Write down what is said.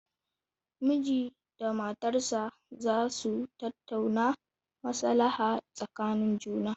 Miji da matarsa za su tattauna maslaha tsakanin juna.